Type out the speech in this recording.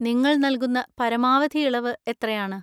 നിങ്ങൾ നൽകുന്ന പരമാവധി ഇളവ് എത്രയാണ്?